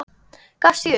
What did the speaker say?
Gafst ég upp?